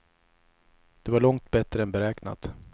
Det var långt bättre än beräknat.